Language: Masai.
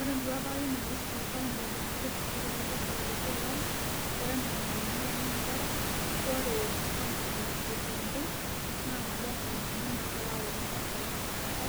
Ore enduata ai naiusu county e kiambu tenkishooroto e bursary te kila olari ore enaa enalimu ilomon inchere ore county e kiambu naa nabo onkauntini nagira aworr bursary tesipata